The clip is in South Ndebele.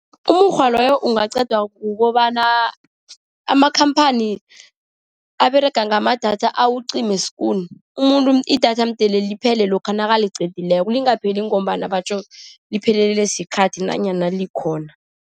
Umukghwa loyo ungaqedwa kukobana amakhamphani aberega ngamadatha awucime skoen. Umuntu, idatha mdele liphele lokha naliqedileko, lingapheli ngombana batjho liphelelwe sikhathi nanyana likhona.